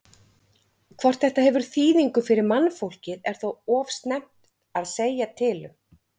Hvort þetta hefur þýðingu fyrir mannfólkið er þó of snemmt að segja til um.